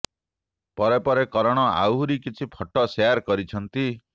ପରେ ପରେ କରଣ ଆହୁରି କିଛି ଫଟୋ ସେୟାର୍ କରିଛନ୍ତି